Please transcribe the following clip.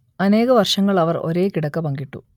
അനേക വർഷങ്ങൾ അവർ ഒരേ കിടക്ക പങ്കിട്ടു